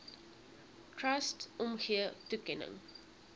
trust omgee toekenning